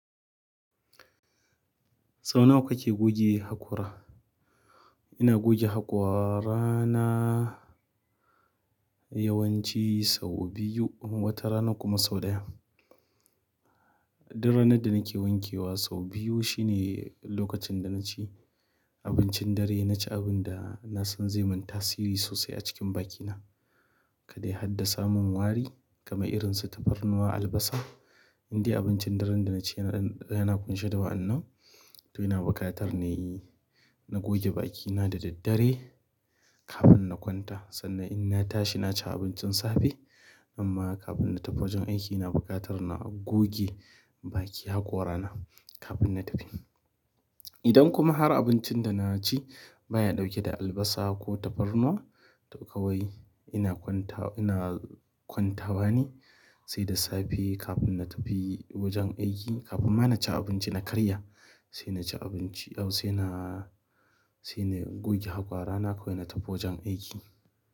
Sau nawa kake goge haƙora? Ina goge haƙorana yawanci sau biyu watarana kuma sau da yawa. Duk ranar da nake wankewa sau biyu shine lokacin da naci abincin dare, naci abun da na san zai man tasiri sosai a cikin bakina. Kada ya haddasa mun wari kamar irin su tafarnuwa, albasa. Indai abincin daren da naci yana ƙunshe da wa'annan, to ina buƙatar na yi, na goge bakina da daddare kafin na kwanta. Sannan in na tashi na ci abincin safe. Amma kafin na tafi wajen aiki ina buƙatar na goge baki haƙora na kafin na tafi. Idan kuma har abincin da na ci baya ɗauke da albasa ko tafarnuwa, to kawai ina kwanta, ina kwantawa ne sai da safe kafin na tafi wajen aiki. Kafin ma na ci abinci na karya, sai na ci abinci au sai na, sai na goge haƙora na kawai na tafi wajen aiki.